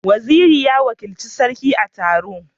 Waziri ya wakilci Sarki a taron.